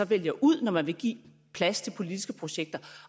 vælger ud når man vil give plads til politiske projekter